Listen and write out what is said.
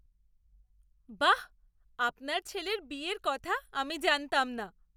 বাহ্! আপনার ছেলের বিয়ের কথা আমি জানতাম না!